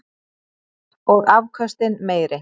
Og afköstin meiri.